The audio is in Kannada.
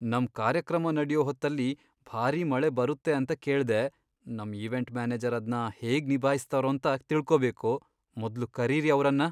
ನಮ್ ಕಾರ್ಯಕ್ರಮ ನಡ್ಯೋ ಹೊತ್ತಲ್ಲಿ ಭಾರಿ ಮಳೆ ಬರುತ್ತೆ ಅಂತ ಕೇಳ್ದೆ, ನಮ್ ಈವೆಂಟ್ ಮ್ಯಾನೇಜರ್ ಅದ್ನ ಹೇಗ್ ನಿಭಾಯಿಸ್ತಾರೋಂತ ತಿಳ್ಕೊಬೇಕು, ಮೊದ್ಲು ಕರೀರಿ ಅವ್ರನ್ನ!